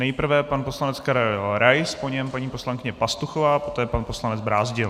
Nejprve pan poslanec Karel Rais, po něm paní poslankyně Pastuchová, poté pan poslanec Brázdil.